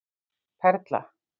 Perla